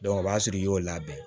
o b'a sɔrɔ i y'o labɛn